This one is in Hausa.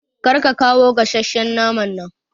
Kar ka kawa gasasshen naman nan